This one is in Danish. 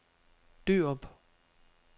Dørup